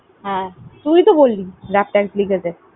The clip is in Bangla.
হ্যাঁ তুই তো বললি। লিখেছে।